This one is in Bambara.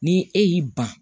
Ni e y'i ban